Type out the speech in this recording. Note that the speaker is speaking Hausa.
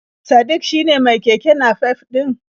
Sadik shine mai keke nafef ɗin?